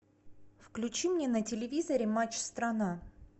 включи мне на телевизоре матч страна